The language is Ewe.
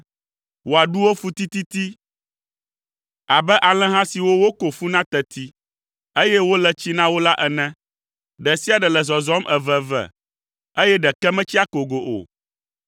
Wò aɖuwo fu tititi abe alẽha siwo woko fu na teti, eye wole tsi na wo la ene. Ɖe sia ɖe le zɔzɔm eveve, eye ɖeke metsi akogo o.